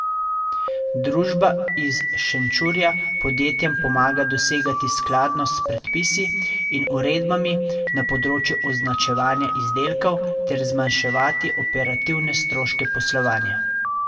Družba iz Šenčurja podjetjem pomaga dosegati skladnost s predpisi in uredbami na področju označevanja izdelkov ter zmanjševati operativne stroške poslovanja.